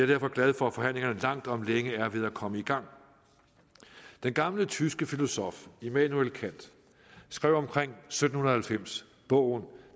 derfor glad for at forhandlingerne langt om længe er ved at komme i gang den gamle tyske filosof immanuel kant skrev omkring sytten halvfems bogen